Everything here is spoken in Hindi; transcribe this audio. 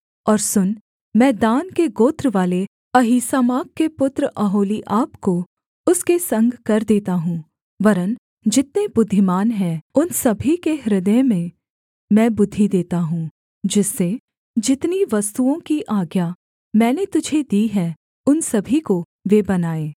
और सुन मैं दान के गोत्रवाले अहीसामाक के पुत्र ओहोलीआब को उसके संग कर देता हूँ वरन् जितने बुद्धिमान हैं उन सभी के हृदय में मैं बुद्धि देता हूँ जिससे जितनी वस्तुओं की आज्ञा मैंने तुझे दी है उन सभी को वे बनाएँ